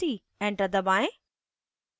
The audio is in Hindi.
enter दबाएं